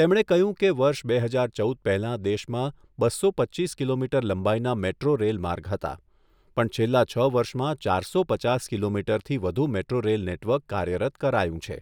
તેમણે કહ્યું કે, વર્ષ બે હજાર ચૌદ પહેલાં દેશમાં બસો પચ્ચીસ કિલોમીટર લંબાઈના મેટ્રો રેલ માર્ગ હતા પણ છેલ્લાં છ વર્ષમાં ચારસો પચાસ કિલોમીટરથી વધુ મેટ્રો રેલ નેટવર્ક કાર્યરત કરાયું છે